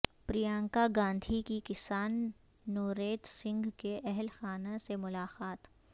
پرینکا گاندھی کی کسان نوریت سنگھ کے اہل خانہ سے ملاقات